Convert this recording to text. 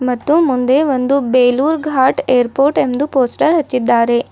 ಮತ್ತು ಮುಂದೆ ಒಂದು ಬೇಲೂರ್ ಘಾಟ್ ಏರ್ಪೋರ್ಟ್ ಎಂದು ಪೋಸ್ಟರ್ ಹಚ್ಚಿದ್ದಾರೆ.